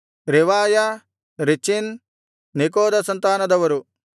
ರೆವಾಯ ರೆಚೀನ್ ನೆಕೋದ ಸಂತಾನದರು